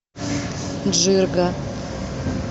джирга